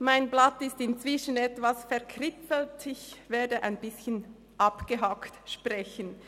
Mein Blatt ist inzwischen etwas verkritzelt, ich werde ein bisschen abgehackt sprechen.